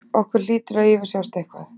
Okkur hlýtur að yfirsjást eitthvað.